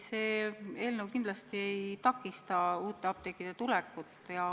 See eelnõu kindlasti ei takista uute apteekide tulekut.